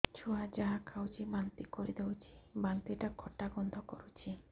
ଛୁଆ ଯାହା ଖାଉଛି ବାନ୍ତି କରିଦଉଛି ବାନ୍ତି ଟା ଖଟା ଗନ୍ଧ କରୁଛି